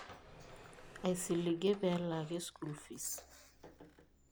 Aisiligie peealaaki school fees.